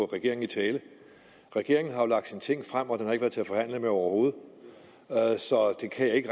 regeringen i tale regeringen har jo lagt sine ting frem og den har ikke været til at forhandle med overhovedet så det kan jeg ikke